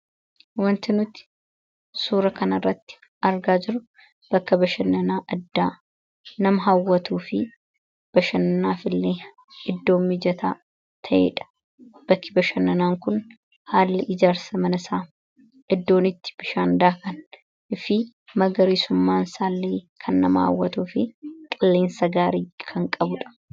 wantinuti suura kan irratti argaa jiru bakki bashannanaa addaa nama hawwatuu fi bashannanaaf illee iddoo mijataa ta'eedha bakki bashannanaa kun haalli ijaarsa manasaa eddoonitti bishaandaakan fi magariisummaan isaalleekan nama hawwatuu fi qilleensa gaarii kan qabuudha